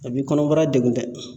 A b'i kɔnɔbara degun dɛ.